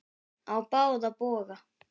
Á báða bóga.